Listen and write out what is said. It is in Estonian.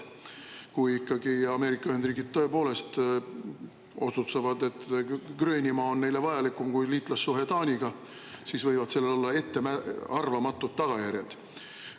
Kui ikkagi Ameerika Ühendriigid tõepoolest otsustavad, et Gröönimaa on neile vajalikum kui liitlassuhe Taaniga, siis võivad sellel olla ettearvamatud tagajärjed.